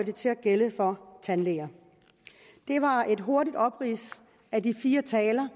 til at gælde for tandlæger det var et hurtigt oprids af de fire taler